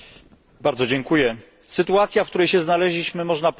Sytuacja, w której się znaleźliśmy, jest można powiedzieć kuriozalna.